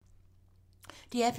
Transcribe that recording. DR P3